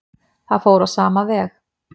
Það fór á sama veg.